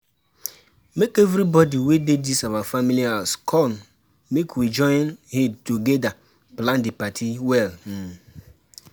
make everybody wey dey dis our family house come make we join head togeda plan the party well um